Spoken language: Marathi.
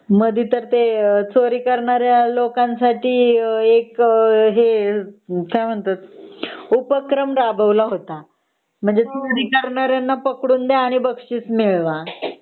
मधे तर ते चोरी करणाऱ्या लोकांसाठी एक हे काय म्हणतात उपक्रम राबवला होता म्हणजे चोरी करणाऱ्याला पकडुन द्या आणि बकशिस मिळवा